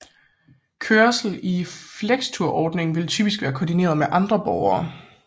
Kørslen i flextursordningen vil typisk være koordineret med andre borgere